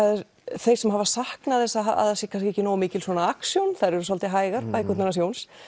þeir sem hafa saknað þess að það er ekki nógu mikill action þær eru svolítið hægar bækurnar hans Jóns